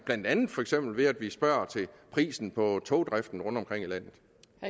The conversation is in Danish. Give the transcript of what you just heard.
for eksempel ved at vi spørger til prisen på togdriften rundtomkring i landet